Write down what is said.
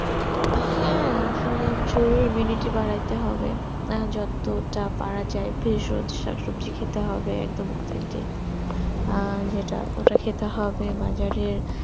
হ্যাঁ আসলে শরীরের immunity বাড়াতে হবে আর যতটা পারা যাই বেশি শাক সবজি খেতে হবে একদম authentic আহ যেটা খেতে হবে যাদের